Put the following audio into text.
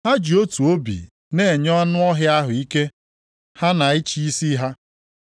Ha ji otu obi na-enye anụ ọhịa ahụ ike ha na ịchị isi ha.